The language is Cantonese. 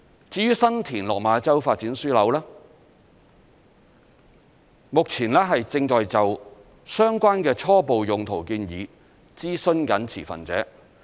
至於新田/落馬洲發展樞紐，目前正就相關的初步用途建議諮詢持份者。